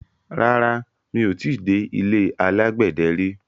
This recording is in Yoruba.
Rárá, mi ò ti dé ilé alágbẹ̀dẹ rí.